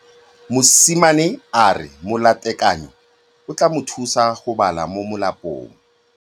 Mosimane a re molatekanyô o tla mo thusa go bala mo molapalong.